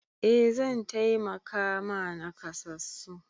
Eh zan taimaka ma nakasassu.